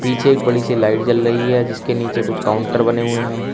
पीछे एक बड़ी सी लाइट जल रही है जिसके नीचे कुछ काउंटर बने हुए हैं।